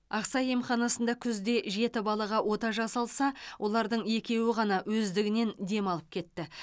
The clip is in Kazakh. ақсай емханасында күзде жеті балаға ота жасалса олардың екеуі ғана өздігінен демалып кетті